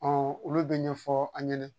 olu bɛ ɲɛfɔ an ɲɛna